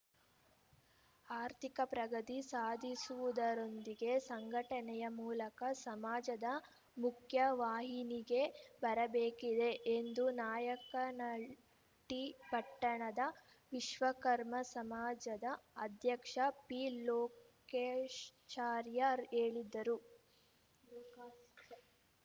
ಆರ್ಥಿಕ ಪ್ರಗತಿ ಸಾಧಿಸುವುದರೊಂದಿಗೆ ಸಂಘಟನೆಯ ಮೂಲಕ ಸಮಾಜದ ಮುಖ್ಯವಾಹಿನಿಗೆ ಬರಬೇಕಿದೆ ಎಂದು ನಾಯಕನಹಟ್ಟಿಪಟ್ಟಣದ ವಿಶ್ವಕರ್ಮ ಸಮಾಜದ ಅಧ್ಯಕ್ಷ ಪಿಲೋಕೇಶ್ ಚಾರಿಯರ್ ಹೇಳಿದರು